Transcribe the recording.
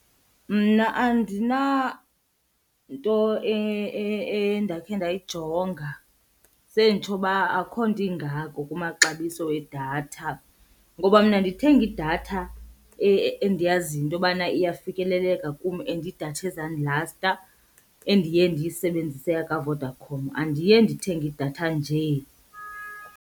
Mna andinanto endakhe ndayijonga, Senditsho uba akho nto ingako kumaxabiso edatha. Ngoba mna ndithenga idatha endiyaziyo into yobana iyafikeleleka kum and idatha ezandilasta endiye ndiyisebenzise yakaVodacom, andiye ndithenge idatha nje.